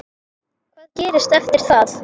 Hvað gerist eftir það?